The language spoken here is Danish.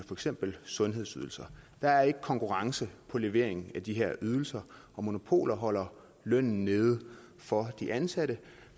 eksempel sundhedsydelser der er ikke konkurrence på leveringen af de her ydelser og monopoler holder lønnen nede for de ansatte